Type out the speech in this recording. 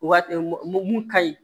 O waati mun ka ɲi